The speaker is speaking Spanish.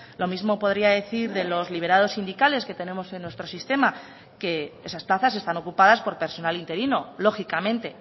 lo mismo podría decir de los liberados sindicales que tenemos en nuestro sistema que esas plazas están ocupadas por personal interino lógicamente